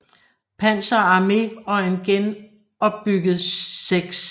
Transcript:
Panzer Arme og en genopbygget 6